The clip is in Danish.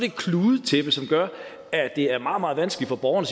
et kludetæppe som gør at det er meget meget vanskeligt for borgeren